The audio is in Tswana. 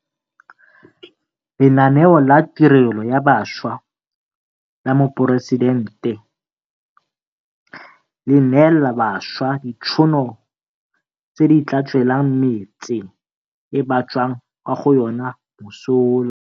Lenaneo la Tirelo ya Bašwa la Moporesitente le neelana bašwa ditšhono tse di tla tswelang metse e ba tswang kwa go yona mosola.